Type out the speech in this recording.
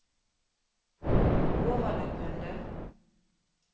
overlappende